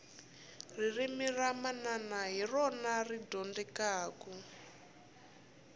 ririmi ra manana hi rona ri dyondzekaku